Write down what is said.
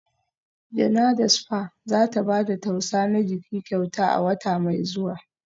Janada spa za ta ba da tausa na jiki kyauta a wata mai zuwa